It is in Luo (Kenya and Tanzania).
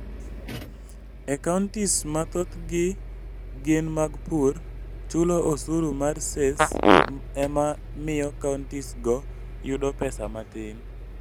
E counties ma thothgi gin mag pur, chulo osuru mar Cess ema miyo countiesgo yudo pesa matin.